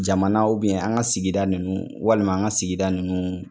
Jamana an ka sigida nunun walima an ka sigida nunun